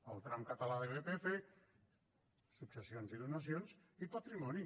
el tram català de l’irpf successions i donacions i patrimoni